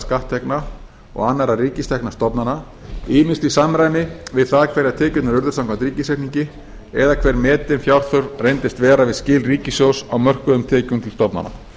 skatttekna og annarra ríkisrekinna stofnana ýmist í samræmi við það hverjar tekjurnar urðu samkvæmt ríkisreikningi eða hver metin fjárþörf reyndist vera við skil ríkissjóðs á mörkuðum tekjum til stofnana